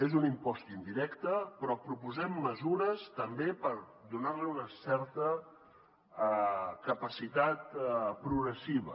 és un impost indirecte però proposem mesures també per donar li una certa capacitat progressiva